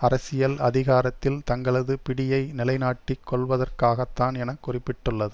அரசியல் அதிகாரத்தில் தங்களது பிடியை நிலைநாட்டிக் கொள்வதற்காகத்தான் என குறிப்பிட்டுள்ளது